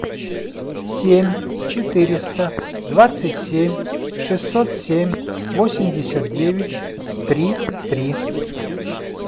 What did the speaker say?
семь четыреста двадцать семь шестьсот семь восемьдесят девять три три